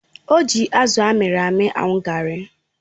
O ji azụ amịrị amị aṅụ garri.